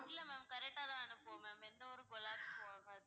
இல்ல ma'am correct டா தான் அனுப்புவோம் ma'am எந்த ஒரு collapse உம் ஆகாது.